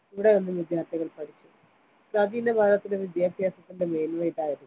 ഇവിടെനിന്നും വിദ്യാർത്ഥികൾ പഠിച്ചു പ്രാചീന ഭാരതത്തിലെ വിദ്യാ ഭ്യാസത്തിന്റെ മേന്മ ഇതായിരുന്നു.